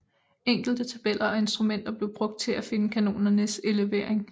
Enkle tabeller og instrumenter blev brugt til at finde kanonernes elevering